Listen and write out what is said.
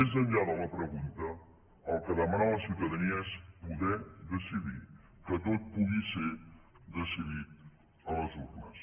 més enllà de la pregunta el que demana la ciutadania és poder decidir que tot pugui ser decidit a les urnes